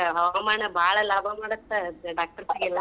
ಹವಾಮಾನ ಬಾಳ ಲಾಭ ಮಾಡತ್ತ doctors ಗೆಲ್ಲಾ.